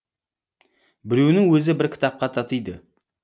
біреуінің өзі бір кітапқа татиды